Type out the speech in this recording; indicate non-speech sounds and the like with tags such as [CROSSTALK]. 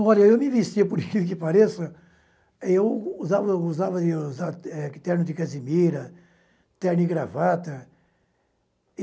Olha, eu me vestia, por que que pareça, [LAUGHS] eu usava usava usava é terno de casimira, terno e gravata.